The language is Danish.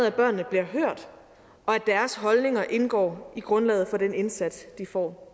at børnene bliver hørt og at deres holdninger indgår i grundlaget for den indsats de får